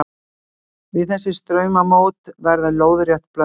Við þessi straumamót verður lóðrétt blöndun sjávar.